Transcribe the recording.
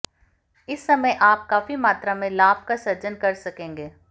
इस समय आप काफी मात्रा में लाभ का सृजन कर सकेंगे